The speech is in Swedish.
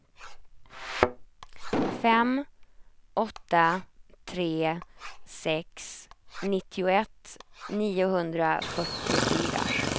fem åtta tre sex nittioett niohundrafyrtiofyra